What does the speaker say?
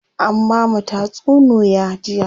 An bamu tatsunuya jiya.